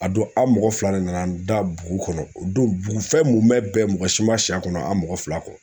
A don a mɔgɔ fila de nana n da bugu kɔnɔ o don bugufɛn munɛ bɛɛ mɔgɔ si ma si a kɔnɔ an mɔgɔ fila dɔrɔn